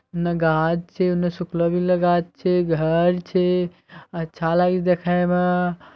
ना घास छे ना सुखला-गीला घास छे। घर छे अच्छा लागे छै देखमा।